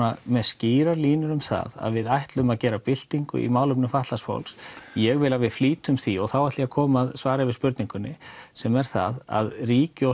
með skýrar línur um það að við ætlum að gera byltingu í málefnum fatlaðs fólks ég vil að við flýtum því og þá ætla ég að koma að svari við spurningunni sem er að ríki og